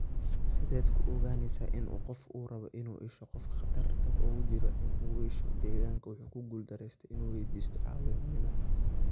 Sideed ku ogaanaysaa in qof uu rabo in uu iishoo qofka khatarta ugu jira iin uu ishoo deegaanka wuu ku guul daraystay inuu waydiisto caawimo.